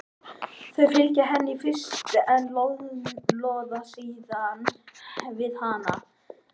Þau fylgja henni í fyrstu en loða síðan við hana.